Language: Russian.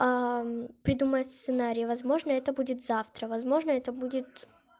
придумать сценарий возможно это будет завтра возможно это будет